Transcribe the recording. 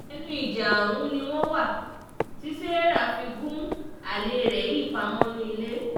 ẹnu ìjà ọ̀hún ni wọ́n wà tí sarah fi gun alẹ́ rẹ̀ yìí pa mọ́nú ilé